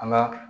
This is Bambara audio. An ka